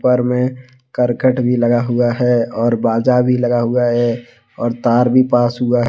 ऊपर में करकट भी लगा हुआ और बाजा भी लगा हुआ और तार भी पास हुआ--